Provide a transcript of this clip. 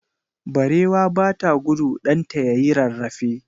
Barewa bata gudu ɗanta yayi rarrafe.